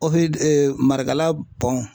Marakala